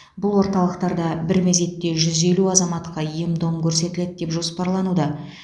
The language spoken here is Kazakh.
бұл орталықтарда бір мезетте жүз елу азаматқа ем дом көрсетіледі деп жоспарлануда